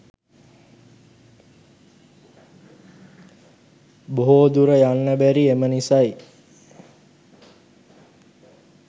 බොහෝ දුර යන්න බැරි එම නිසයි